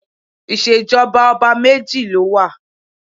Ìṣèjọba ọba méjì ló wà